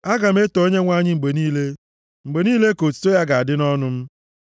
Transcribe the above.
Aga m eto Onyenwe anyị mgbe niile. Mgbe niile ka otuto ya ga-adị nʼọnụ m.